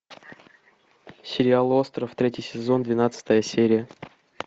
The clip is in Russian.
сериал остров третий сезон двенадцатая серия